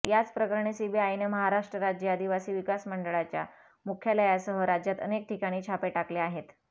याचप्रकरणी सीबीआयनं महाराष्ट्र राज्य आदिवासी विकास महामंडळाच्या मुख्यालयासह राज्यात अनेक ठिकाणी छापे टाकले आहेत